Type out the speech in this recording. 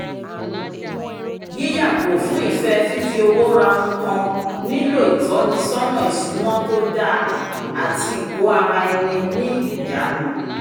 yíyàgò fún ìfẹ́ fífi owó ra oun kan nílò ìtọ́nisọ́nà ìṣúná tó dáa àti ìkó ara ní ní ìjanu